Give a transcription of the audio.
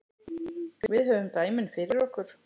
Við höfum dæmin fyrir okkur.